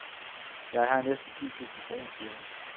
Jeg har næsten ni tusinde kroner, siger hun.